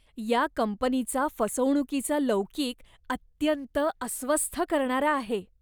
या कंपनीचा फसवणुकीचा लौकिक अत्यंत अस्वस्थ करणारा आहे.